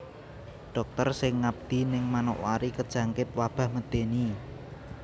Dokter sing ngabdi ning Manokwari kejangkit wabah medeni